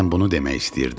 Sən bunu demək istəyirdin?